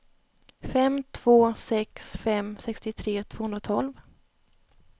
fem två sex fem sextiotre tvåhundratolv